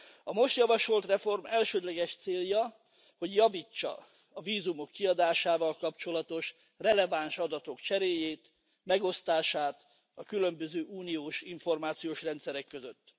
A most javasolt reform elsődleges célja, hogy javítsa a vízumok kiadásával kapcsolatos releváns adatok cseréjét, megosztását a különböző uniós információs rendszerek között.